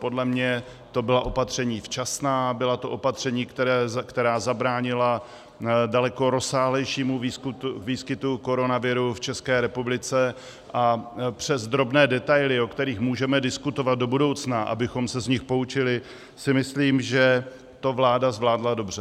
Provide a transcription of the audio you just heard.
Podle mě to byla opatření včasná, byla to opatření, která zabránila daleko rozsáhlejšímu výskytu koronaviru v České republice, a přes drobné detaily, o kterých můžeme diskutovat do budoucna, abychom se z nich poučili, si myslím, že to vláda zvládla dobře.